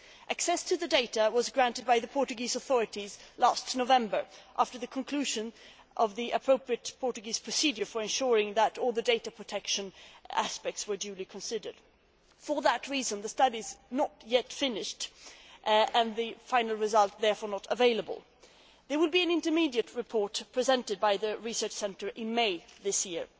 Access to the data was granted by the Portuguese authorities last November after the conclusion of the appropriate Portuguese procedure for ensuring that all the data protection aspects were duly considered. For that reason, the study is not yet finished and the final result therefore not available. There will be an intermediate report presented by the Research Centre in May this year.